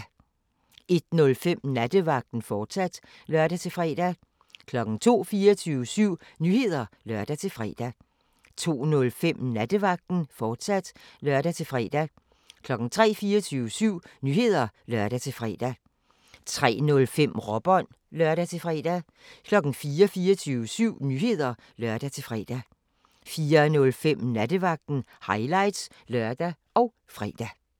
01:05: Nattevagten, fortsat (lør-fre) 02:00: 24syv Nyheder (lør-fre) 02:05: Nattevagten, fortsat (lør-fre) 03:00: 24syv Nyheder (lør-fre) 03:05: Råbånd (lør-fre) 04:00: 24syv Nyheder (lør-fre) 04:05: Nattevagten – highlights (lør og fre)